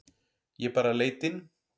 Ég bara leit inn.